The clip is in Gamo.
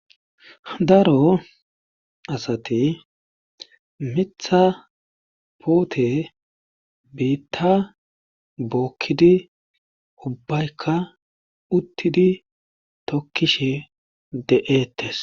Daro asati mitha puute biitta bookkisi ubbayka tokkishe de77eettes.